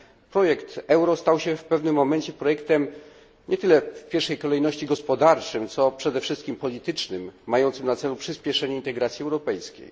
Projekt euro stał się w pewnym momencie projektem nie tyle w pierwszej kolejności gospodarczym, co przede wszystkim politycznym, mającym na celu przyspieszenie integracji europejskiej.